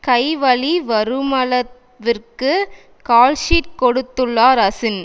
கை வலி வருமளவிற்கு கால்ஷீட் கொடுத்துள்ளார் அசின்